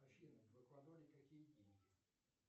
афина в эквадоре какие деньги